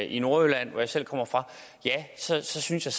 i nordjylland hvor jeg selv kommer fra så synes jeg